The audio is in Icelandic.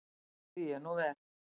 Því er nú ver.